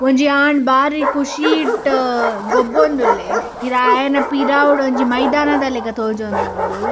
ಒಂಜಿ ಆಣ್‌ ಬಾರಿ ಖುಶೀಟ್‌ ಗೊಬ್ಬೋಂದುಲ್ಲೆ ಪಿರಾ ಆಯೆನ ಪಿರಾವುಡು ಒಂಜಿ ಮೈದಾನದ ಲೆಕ್ಕ ತೋಜೋಂದುಂಡು.